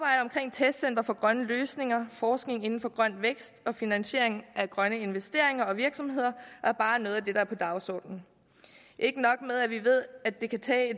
testcentre for grønne løsninger forskning inden for grøn vækst og finansiering af grønne investeringer og virksomheder er bare noget af det der er på dagsordenen ikke nok med at vi ved at det kan